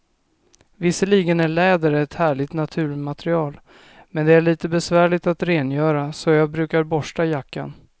Visserligen är läder ett härligt naturmaterial, men det är lite besvärligt att rengöra, så jag brukar borsta jackan.